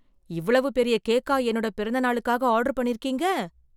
இவ்வளவு பெரிய கேக்கா என்னோட பிறந்த நாளுக்காக ஆர்டர் பண்ணியிருக்கிங்க!